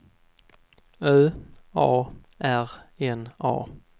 Ö A R N A